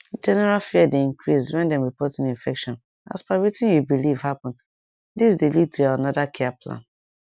general fear dey increase when dem report new infection as per wetin you believe happenthis dey lead to another care plan